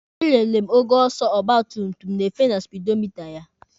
E lere m ogo ọsọ ọgba tum tum na-efe na spidomita ya.